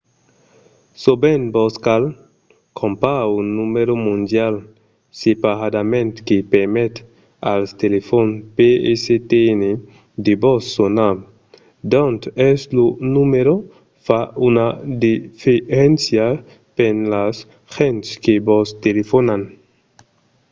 sovent vos cal crompar un numèro mondial separadament que permet als telefòn pstn de vos sonar. d'ont es lo numèro fa una diferéncia per las gents que vos telefonan